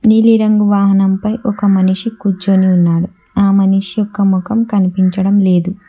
నీలిరంగు వాహనంపై ఒక మనిషి కూర్చొని ఉన్నాడు ఆ మనిషి యొక్క మొఖం కనిపించడం లేదు.